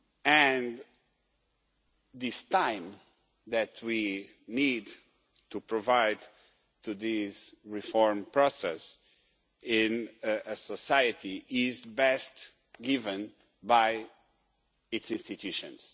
And this time that we need to provide this reform process with in a society is best given by its institutions.